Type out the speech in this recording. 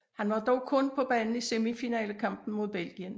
Han var dog kun på banen i semifinalekampen mod Belgien